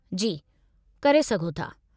जी, करे सघो था।